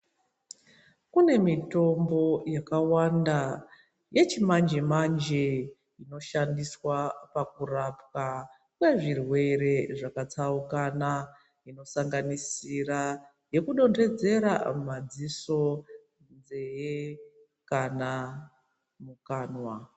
Kune mitombo yakawanda yechimanje manje inoshandiswa pakurapwa kwezvirwere zvakatsaukana inosanganisira yekudonhedzera mumadziso, munzee kana mukanwa.